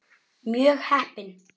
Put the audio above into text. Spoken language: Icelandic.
Mjög heppin.